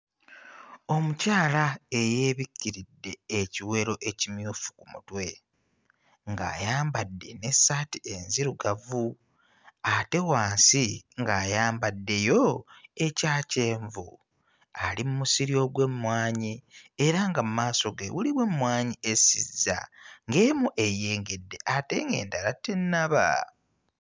Omukyala eyeebikiridde ekiwero ekimyufu ku mutwe, ng'ayambadde n'essaati enzirugavu ate wansi ng'ayambaddeyo ekya kyenvu, ali mmusiri ogw'emmwanyi era nga maaso ge mulimu emmwanyi esizza ng'emu eyengedde ate ng'endala tennaba.